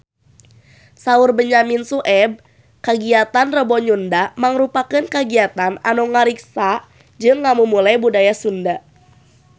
Saur Benyamin Sueb kagiatan Rebo Nyunda mangrupikeun kagiatan anu ngariksa jeung ngamumule budaya Sunda